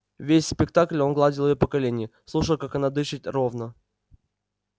весь спектакль он гладил её по колене слушал как она дышит ровно